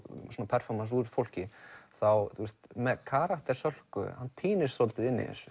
performans úr fólki með karakter Sölku hann týnist svolítið í þessu